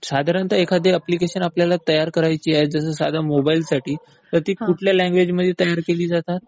साधारणतः एखादं अप्लिकेशन आपल्याला तयार करायचं आहे, साधारणतः मोबाईलसाठी, तर ती कुठल्या लँग्वेज मध्ये तयार केली जातात?